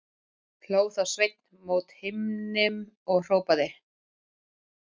Hló þá Sveinn mót himninum og hrópaði